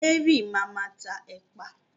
Mary ma máa tá ẹ̀pà